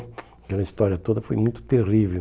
Aquela história toda foi muito terrível.